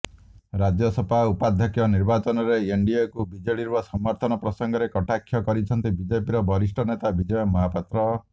ରାଜ୍ୟସଭା ଉପାଧ୍ୟକ୍ଷ ନିର୍ବାଚନରେ ଏନଡିଏକୁ ବିଜେଡ଼ିର ସମର୍ଥନ ପ୍ରସଙ୍ଗରେ କଟାକ୍ଷ କରିଛନ୍ତି ବିଜେପିର ବରିଷ୍ଠ ନେତା ବିଜୟ ମହାପାତ୍ର